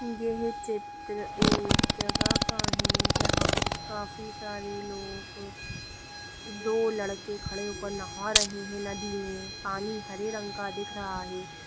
यह चित्र एक जगह का है जहाँ काफी सारे लोग दो लड़के खड़े होकर नाहा रहे हैं नदी में पानी हरे रंग का दिख रहा है।